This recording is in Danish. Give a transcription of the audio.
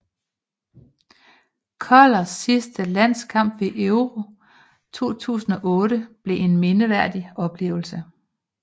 Kollers sidste landskamp ved Euro 2008 blev en mindeværdig oplevelse